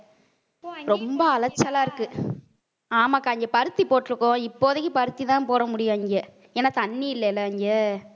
ரொம்ப அலைச்சலா இருக்கு. ஆமாக்கா இங்க பருத்தி போட்டிருக்கோம். இப்போதைக்கு பருத்திதான் போட முடியும் இங்க ஏன்னா தண்ணி இல்லைல இங்க.